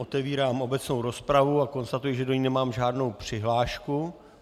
Otevírám obecnou rozpravu a konstatuji, že do ní nemám žádnou přihlášku.